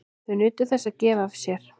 Þau nutu þess að gefa af sér.